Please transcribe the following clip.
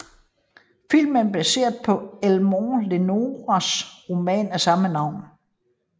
Filmen er baseret på Elmore Leonards roman af samme navn